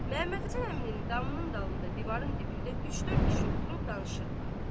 Məhəmmədhəsən əminin damının dalında, divarın dibində üç-dörd kişi oturub danışırdılar.